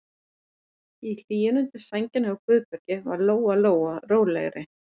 Í hlýjunni undir sænginni hjá Guðbergi varð Lóa Lóa rólegri.